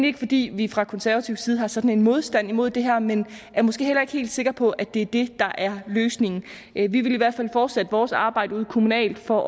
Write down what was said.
ikke fordi vi fra konservativ side har sådan en modstand imod det her men er måske heller ikke helt sikre på at det er det der er løsningen vi vil i hvert fald fortsætte vores arbejde ude kommunalt for